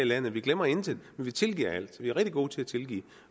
landet vi glemmer intet vi tilgiver alt vi er rigtig gode til at tilgive